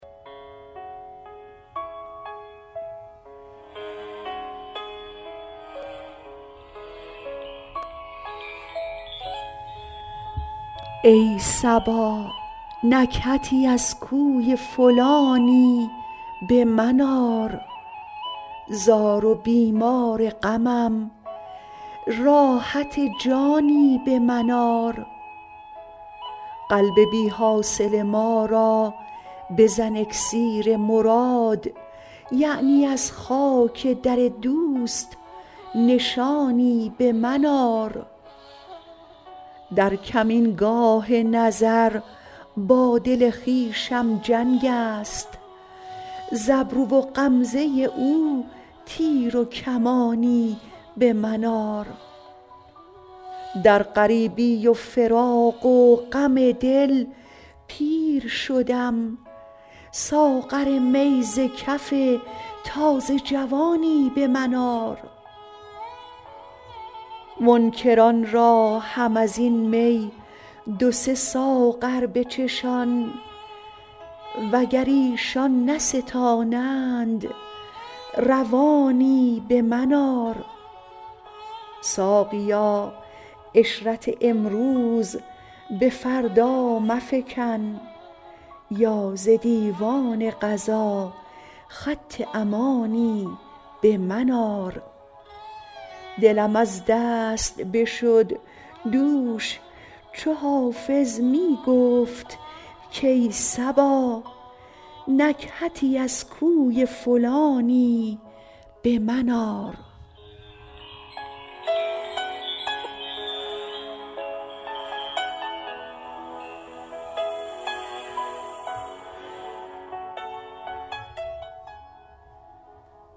ای صبا نکهتی از کوی فلانی به من آر زار و بیمار غمم راحت جانی به من آر قلب بی حاصل ما را بزن اکسیر مراد یعنی از خاک در دوست نشانی به من آر در کمینگاه نظر با دل خویشم جنگ است ز ابرو و غمزه او تیر و کمانی به من آر در غریبی و فراق و غم دل پیر شدم ساغر می ز کف تازه جوانی به من آر منکران را هم از این می دو سه ساغر بچشان وگر ایشان نستانند روانی به من آر ساقیا عشرت امروز به فردا مفکن یا ز دیوان قضا خط امانی به من آر دلم از دست بشد دوش چو حافظ می گفت کای صبا نکهتی از کوی فلانی به من آر